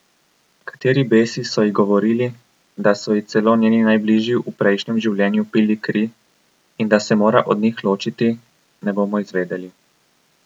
Kateri besi so ji govorili, da so ji celo njeni najbližji v prejšnjem življenju pili kri in da se mora od njih ločiti, ne bomo izvedeli.